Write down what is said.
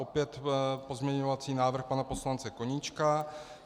Opět pozměňovací návrh pana poslance Koníčka.